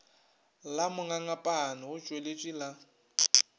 la mongangapane go tswaletšwe la